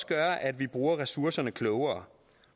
gøre at vi bruger ressourcerne klogere